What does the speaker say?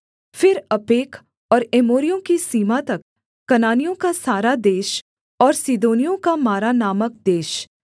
फिर अपेक और एमोरियों की सीमा तक कनानियों का सारा देश और सीदोनियों का मारा नामक देश